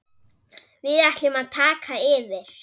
Við ætlum að taka yfir.